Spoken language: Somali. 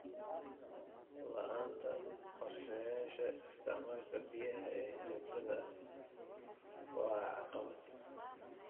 La'aanta qorshayaasha isticmaalka biyaha ee joogtada ah waa caqabad.